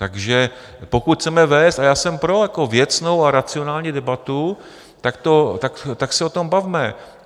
Takže pokud chceme vést, a já jsem pro, věcnou a racionální debatu, tak se o tom bavme.